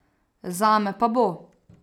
Zame pa bo.